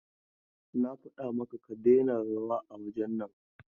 Na faɗa maka ka daina rawa a wurin nan!